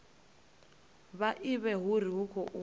vha ivhe uri hu khou